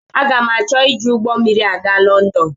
Aga m achọ iji ụgbọ mmiri aga Lọndọn.